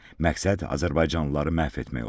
Məqsəd azərbaycanlıları məhv etmək olub.